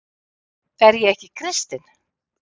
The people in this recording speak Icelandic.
Er ég ekki kristinn?